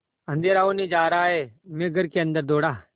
अँधेरा होने जा रहा है मैं घर के अन्दर दौड़ा